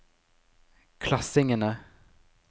klassingene